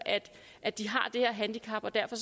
at de har det her handicap og derfor